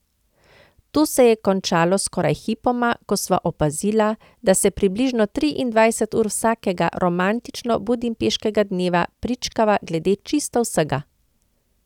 To se je končalo skoraj hipoma, ko sva opazila, da se približno triindvajset ur vsakega romantično budimpeškega dneva pričkava glede čisto vsega.